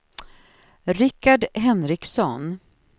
Richard Henriksson